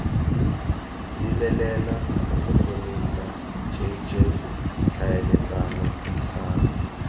lebelela tlhotlhomisa jj tlhaeletsano puisano